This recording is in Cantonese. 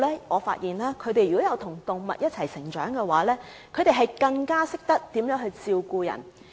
我發現與動物一起成長的小朋友更懂得照顧別人。